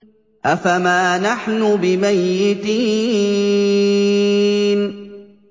أَفَمَا نَحْنُ بِمَيِّتِينَ